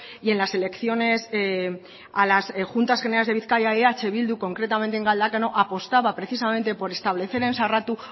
y en las elecciones a las juntas generales de bizkaia eh bildu concretamente en galdakao apostaba precisamente por establecer en sarratu